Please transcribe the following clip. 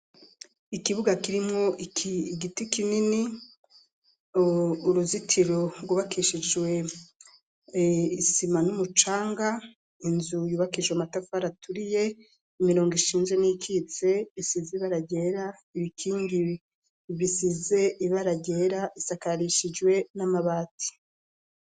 Ikibuga kirimwo iki giti kinini uruzitiro rwubakishijwe isima n'umucanga inzu yubakijwe amatafari aturiye imirongo ishinze n'ikitse bisize ibara ryera ibikingi bisize ibara ryera bisakarishijwe n'amabati.